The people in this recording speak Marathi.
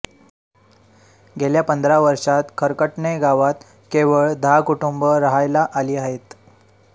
गेल्या पंधरा वर्षात खरकटणे गावात केवळ दहा कुटुंब राहायला आली आहेत